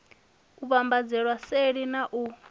u vhambadzelwa seli na u